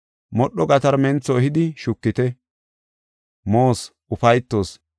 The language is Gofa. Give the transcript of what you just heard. Modho gatarmentho ehidi shukite, moos, ufaytoos.